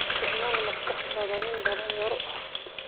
Isticmaal maskaxdaada, nin dhallinyaro ah.